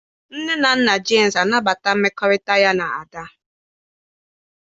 Nne na nna Jemsị anabataghị mmekọrịta ya na Ada